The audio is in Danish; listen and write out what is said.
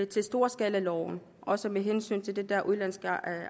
til storskalaloven også med hensyn til de der udenlandske